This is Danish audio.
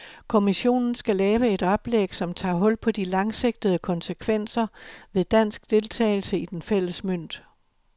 Kommissionen skal lave et oplæg, som tager hul på de langsigtede konsekvenser ved dansk deltagelse i den fælles mønt.